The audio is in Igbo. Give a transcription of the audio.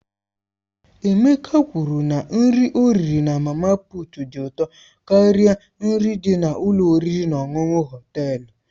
Emeka kwuru na nri ọ riri na mama puut dị ụtọ karịa nri dị n'ụlọ oriri na ọṅụṅụ Họtelu.